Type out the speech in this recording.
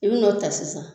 I bi n'o ta sisan